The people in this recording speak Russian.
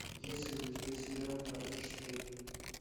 есть ли у тебя сериал врата штейна